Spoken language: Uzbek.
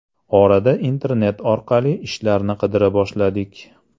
Orada internet orqali ishlarni qidira boshladik.